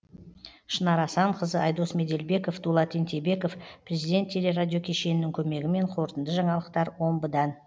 шынар асанқызы айдос меделбеков дулат ентебеков президент телерадио кешенінің көмегімен қорытынды жаңалықтар омбыдан